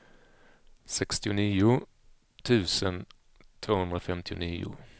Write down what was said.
sextionio tusen tvåhundrafemtionio